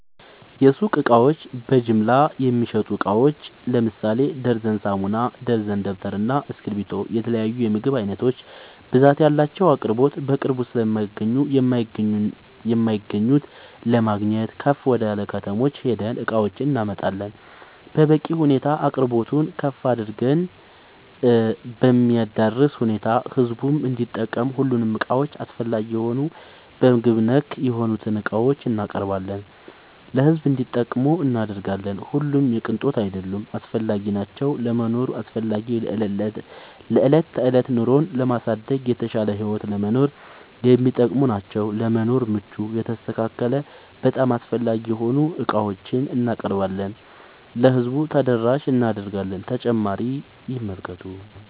የሱቅ እቃዎች በጅምላ የሚሸጡ እቃዎች ለምሳሌ ደርዘን ሳሙና፣ ደርዘን ደብተር እና እስኪብርቶ የተለያዬ የምግብ አይነቶች ብዛት ያላቸው አቅርቦት በቅርብ ስለማይገኙ የማይገኙት ለማግኘት ከፍ ወደላ ከተሞች ሄደን እቃዎችን እናመጣለን በበቂ ሁኔታ አቅርቦቱን ከፍ አድርገን በሚያዳርስ ሁኔታ ህዝቡም እንዲጠቀም ሁሉንም እቃዎች አስፈላጊ የሆኑ በምግብ ነክ የሆኑትን እቃዎችን እናቀርባለን ለሕዝብ እንዲጠቀሙ እናደርጋለን። ሁሉም የቅንጦት አይደሉም አስፈላጊናቸው ለመኖር አስፈላጊ ለዕለት ተዕለት ኑሮን ለማሳደግ የተሻለ ህይወት ለመኖር የሚጠቅሙ ናቸው። ለመኖር ምቹ የተስተካከለ በጣም አስፈላጊ የሆኑ ዕቃዎችን እናቀርባለን ለህዝቡ ተደራሽ እናደርጋለን።…ተጨማሪ ይመልከቱ